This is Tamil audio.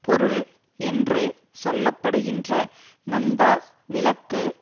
பொருள் என்று சொல்ல படுகின்ற நந்தா விளக்கு